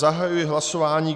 Zahajuji hlasování.